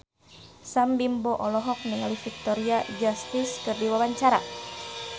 Sam Bimbo olohok ningali Victoria Justice keur diwawancara